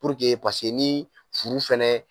Puruke pase ni furu fɛnɛ